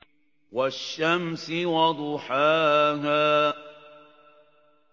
وَالشَّمْسِ وَضُحَاهَا